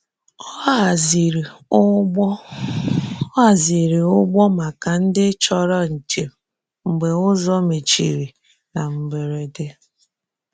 Ọ hazìrì̀ ụgbọ̀ Ọ hazìrì̀ ụgbọ̀ maka ndị chọrọ̀ njem mgbe ụzọ mechirì na mberede.